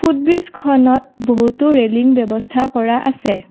ব্ৰিজখনত বহুতো ৰেলিং ব্যবস্থা কৰা আছে।